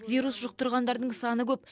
вирус жұқтырғандардың саны көп